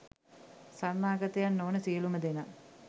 සරණාගතයන් නොවන සියළුම දෙනා